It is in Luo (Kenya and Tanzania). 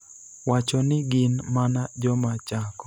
wacho ni gin mana joma chako.